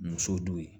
Muso don